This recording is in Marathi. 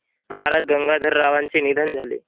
महाराज गंगाधर रावांचे निधन झाले.